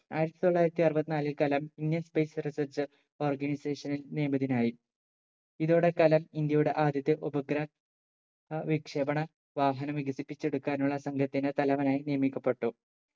ആയിരത്തി തൊള്ളായിരത്തി അറുപത്തിനാലിൽ Kalam indian space researcher organisation ൽ നിയമിതനായി ഇതോടെ കലാം ഇന്ത്യയുടെ ആദ്യത്തെ ഉപഗ്രഹ വിക്ഷേപണ വാഹനം വികസിപ്പിച്ച്‌ എടുക്കാനുള്ള സംഘത്തിന്റെ തലവനായി നിയമിക്കപ്പെട്ടു